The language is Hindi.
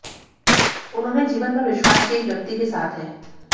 उन्होंने जीवन भर विश्वास की एक व्यक्ति के साथ है